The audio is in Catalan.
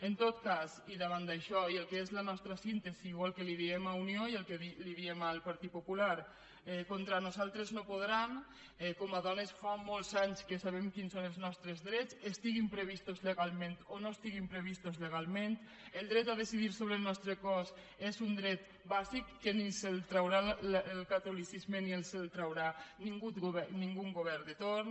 en tot cas i davant d’això i el que és la nostra síntesi o el que li diem a unió i el que li diem al partit popular contra nosaltres no podran com a dones fa molts anys que sabem quins són els nostres drets estiguin previstos legalment o no estiguin previstos legalment el dret a decidir sobre el nostre cos és un dret bàsic que ni ens el traurà el catolicisme ni en els traurà ningun govern de torn